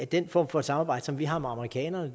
den form for samarbejde som vi har med amerikanerne